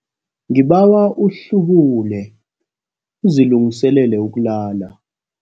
Ngibawa uhlubule uzilungiselele ukulala.